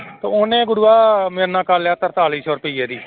ਤੇ ਉਹਨੇ ਗੁਰੂਆ ਮੇਰੇ ਨਾਲ ਕਰ ਲਿਆ ਤਰਤਾਲੀ ਸੌ ਰੁਪਈਏ ਦੀ